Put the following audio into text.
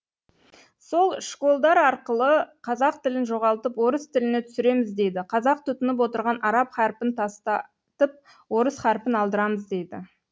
сол школдар арқылы қазақ тілін жоғалтып орыс тіліне түсіреміз дейді қазақ тұтынып отырған араб харпін тастатып орыс харпін алдырамыз дейді